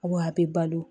Awɔ a bɛ balo